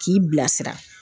K'i bilasira